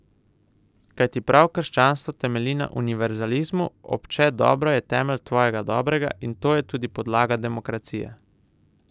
Kajti prav krščanstvo temelji na univerzalizmu, obče dobro je temelj tvojega dobrega, in to je tudi podlaga demokracije.